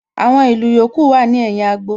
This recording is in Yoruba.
Àwọn ìlù yòókù wà ní ẹ̀yìn agbo